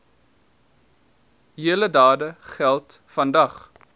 heldedade geld vandag